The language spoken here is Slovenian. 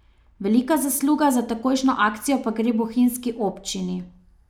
Velika zasluga za takojšnjo akcijo pa gre bohinjski občini.